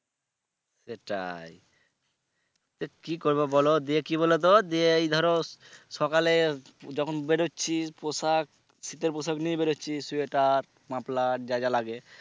সেটাই তো কি করবো বলো দিয়ে কি বলো তো দিয়ে এই ধরো সকালে যখন বেরোচ্ছি পোশাক শীতের পোশাক নিয়েই বেরচ্ছি sweater muffler যা যা লাগে,